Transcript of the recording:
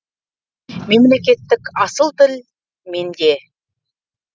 мемлекеттік асыл тіл менде